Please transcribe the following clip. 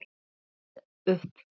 Þeir gáfust upp.